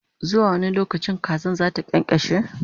zuwa wani lokaci kazar zata kyankyashe?